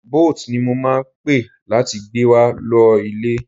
Boat ni mo máa pe láti gbé wa lọ ilé.